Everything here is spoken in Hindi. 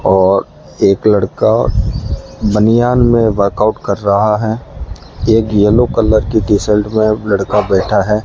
और एक लड़का बनियान में वर्कआउट कर रहा है एक येलो कलर की टी शर्ट में लड़का बैठा है।